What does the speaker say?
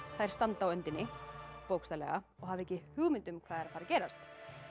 þær standa á öndinni bókstaflega og hafa ekki hugmynd um hvað er að að gerast